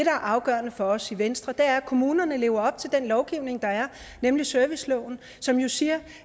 er afgørende for os i venstre er at kommunerne lever op til den lovgivning der er nemlig serviceloven som jo siger